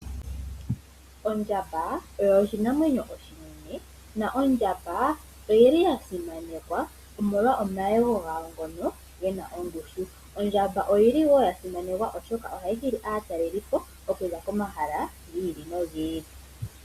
Ondjamba oyo oshinamwenyo oshinene na ondjamba oyili ya simanekwa omolwa omayego gayo ngono gena ongushu. Ondjamba oyili woo ya simanekwa oshoka ohayi hili aatalelipo okuza komahala giili nogiili.